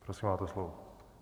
Prosím, máte slovo.